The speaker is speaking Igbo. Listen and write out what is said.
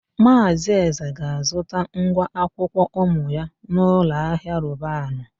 Maazị Eze ga-azụta ngwa akwụkwọ ụmụ ya n'ụlọahịa Robanu.